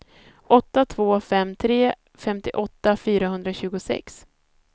åtta två fem tre femtioåtta fyrahundratjugosex